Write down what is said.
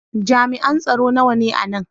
Jami'an tsaro nawa ne a nan?